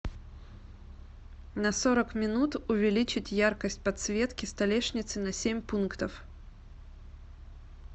на сорок минут увеличить яркость подсветки столешницы на семь пунктов